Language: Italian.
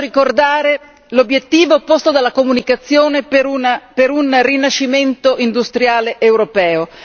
E qui voglio ricordare l'obiettivo posto dalla comunicazione per un rinascimento industriale europeo.